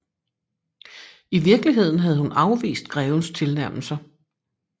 I virkeligheden havde hun afvist grevens tilnærmelser